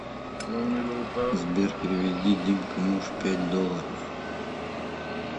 сбер переведи димка муж пять долларов